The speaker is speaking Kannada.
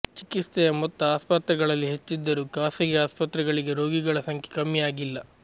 ಚಿಕಿತ್ಸೆಯ ಮೊತ್ತ ಆಸ್ಪತ್ರೆಗಳಲ್ಲಿ ಹೆಚ್ಚಿದ್ದರೂ ಖಾಸಗಿ ಆಸ್ಪತ್ರೆಗಳಿಗೆ ರೋಗಿಗಳ ಸಂಖ್ಯೆ ಕಮ್ಮಿಯಾಗಿಲ್ಲ